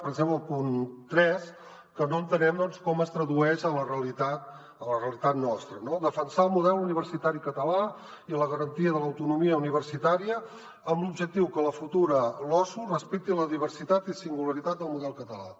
per exemple el punt tres que no entenem com es tradueix a la realitat nostra defensar el model universitari català i la garantia de l’autonomia universitària amb l’objectiu que la futura losu respecti la diversitat i singularitat del model català